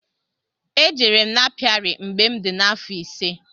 E jere m n'apiari mgbe m dị afọ ise.